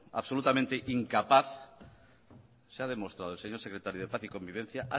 absolutamente incapaz se ha demostrado el señor secretario de paz y convivencia